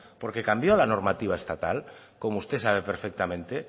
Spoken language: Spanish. porque cambió la normativa estatal como usted sabe perfectamente